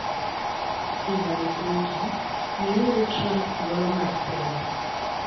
Hillary Clinton: Miuru Trump thuolo mar telo